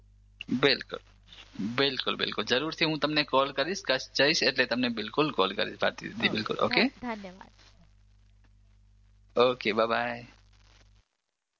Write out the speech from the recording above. બિલકુલ બિલકુલ બિલકુલ હું જરૂરથી તમને કોલ કરીશ હું જઈશ એટલે તમને બિલકુલ કોલ કરીશ ભારતીદીદી ઓકે ધન્યવાદ ઓકે બાય બાય